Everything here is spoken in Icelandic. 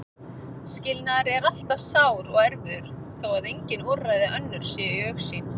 Skilnaður er alltaf sár og erfiður þó að engin úrræði önnur séu í augsýn.